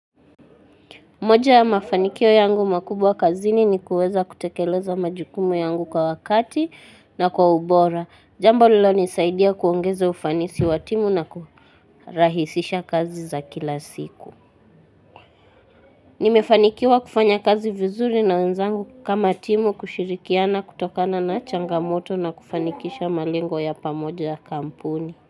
Moja ya mafanikio yangu makubwa kazini ni kuweza kutekeleza majukumu yangu kwa wakati na kwa ubora. Jambo lililo nisaidia kuongeza ufanisi wa timu na kurahisisha kazi za kila siku. Nimefanikiwa kufanya kazi vizuri na wenzangu kama timu kushirikiana kutokana na changamoto na kufanikisha malengo ya pamoja ya kampuni.